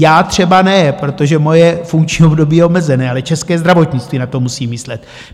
Já třeba ne, protože moje funkční období je omezené, ale české zdravotnictví na to musí myslet.